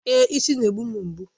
Èé, isi na-egbu m mgbu.